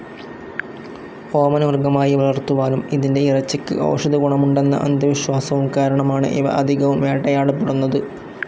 ഓമന മൃഗമായി വളർത്തുവാനും ഇതിന്റെ ഇറച്ചിക്ക് ഔഷധ ഗുണമുണ്ടെന്ന അന്ധവിശ്വാസവും കാരണമാണ് ഇവ അധികവും വേട്ടയാടപ്പെടുന്നത്.